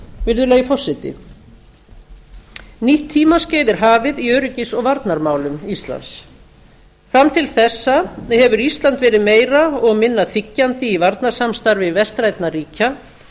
virðulegi forseti nýtt tímaskeið er hafið í öryggis og varnarmálum íslands fram til þessa hefur ísland verið meira og minna þiggjandi í varnarsamstarfi vestrænna ríkja